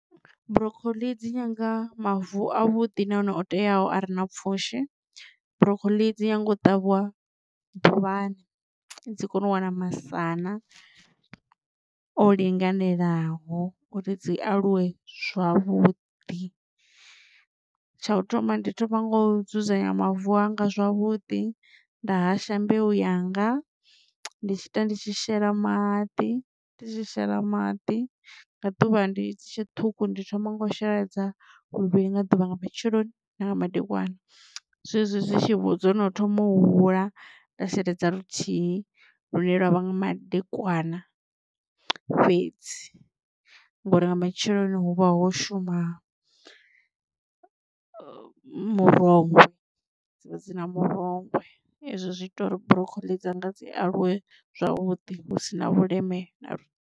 Broccoli dzi nyanga mavu a vhuḓi na hone o teaho a re na pfhushi broccoli dzi nyanga u ṱavhiwa ḓuvhani dzi kone u wana masana o linganelaho uri dzi aluwe zwavhuḓi. Tsha u thoma ndi thoma ngo dzudzanya mavu anga zwavhuḓi nda hasha mbeu yanga ndi tshi ita ndi tshi shela maḓi ndi tshi shela maḓi nga ḓuvha ndi dzi tshe ṱhukhu ndi thoma nga u sheledza luvhili nga ḓuvha nga matsheloni na nga madekwana. Zwezwi zwi tshi vhudzwa dzono thoma u hula nda sheledza luthihi lune lwavha nga madekwana fhedzi ngori nga matsheloni hu vha ho shuma murongwe dzi vha dzi na murongwe ezwo zwi ita uri broccoli dzanga dzi aluwe zwavhuḓi hu si na vhuleme na.